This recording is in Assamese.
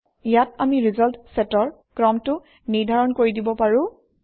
ইয়াত আমি ৰিজাল্ট চেটৰ ক্ৰমটো নিৰ্ধাৰণ কৰি দিব পাৰোঁ